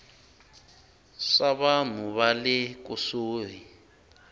swa vanhu va le kusuhi